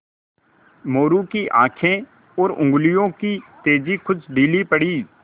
मोरू की आँखें और उंगलियों की तेज़ी कुछ ढीली पड़ी